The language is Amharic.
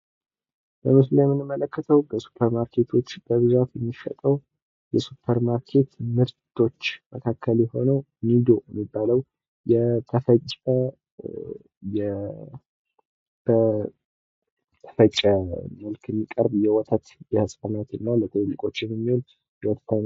በምስሉ ላይ የምንመለከተው በሱፐር ማርኬቶች በብዛት የሚሸጠው የሱፐር ማርኬት ምርቶች መካከል አንዱ የሆነው ኒዶ የተባለው የተፈጨ በተፈጨ መልክ የሚቀርብ የሕጻናት እና ለትልልቆች የሚሆን ምድብ ነው።